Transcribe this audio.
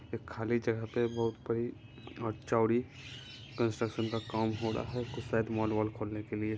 एक खाली जगह पे बहुत बड़ी और चौड़ी कंस्ट्रक्शन का काम हो रहा है कुछ शायद मॉल वॉल खोलने के लिए।